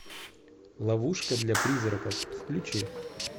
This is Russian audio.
ловушка для призраков включи